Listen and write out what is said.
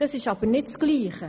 Das ist aber nicht dasselbe.